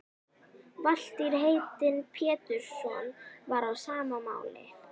Valtýr heitinn Pétursson var á sama máli.